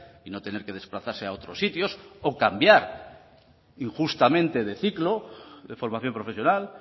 y no tener que desplazarse a otros sitios o cambiar injustamente de ciclo de formación profesional